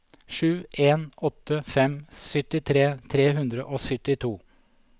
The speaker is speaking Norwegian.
sju en åtte fem syttitre tre hundre og syttito